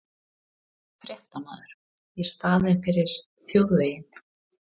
Fréttamaður: Í staðinn fyrir þjóðveginn?